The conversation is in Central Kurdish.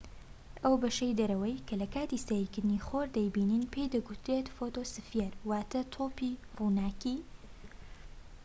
ئەو بەشەی دەرەوەی کە لە کاتی سەیرکردنی خۆر دەیبینین پێی دەگوترێت فۆتۆسفیەر، واتە"تۆپی ڕووناکى